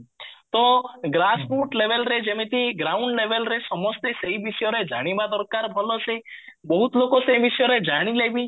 ତ grass put labelରେ ଯେମିତି ground labelରେ ସମସ୍ତେ ସେଇ ବିଷୟରେ ଜାଣିବା ଦରକାର ଭଲସେ ବହୁତ ଲୋକ ସେଇ ବିଷୟରେ ଜାଣିଲେ ବି